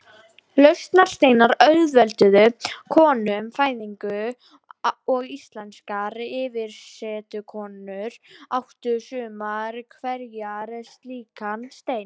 Lausnarsteinar auðvelduðu konum fæðingu og íslenskar yfirsetukonur áttu sumar hverjar slíkan stein.